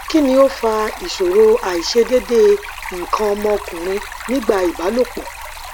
kí ni ó fa ìṣòro aisedede ikan omo okunrin nígbà ìbálòpọ